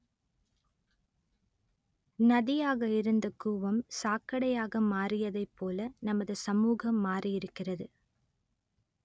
நதியாக இருந்த கூவம் சாக்கடையாக மாறியதைப்போல நமது சமூகம் மாறியிருக்கிறது